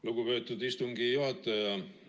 Lugupeetud istungi juhataja!